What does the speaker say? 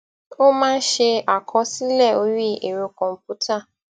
ó máa ń ṣe àkọsílẹ orí ẹrọ kòǹpútà